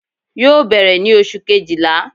yóò berè ni oṣú kéjíla